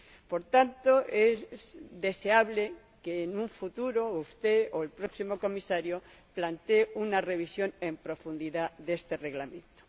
Por tanto, es deseable que en un futuro usted, o el próximo Comisario, plantee una revisión en profundidad de este Reglamento.